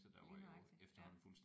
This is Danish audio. Lige nøjagtigt ja